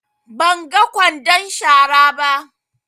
Ban ga ƙwandon shara ba.